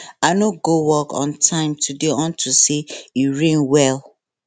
i no go work on time today unto say e rain well